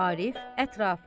Arif ətrafa.